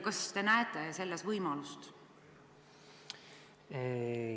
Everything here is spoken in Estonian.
Kas te näete selles võimalust?